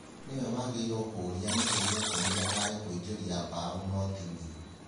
Nĩwe wagĩrĩirũo kũũria (nĩ kĩĩ gĩatũmire aage kũingĩrĩa mbao) no ti niĩ".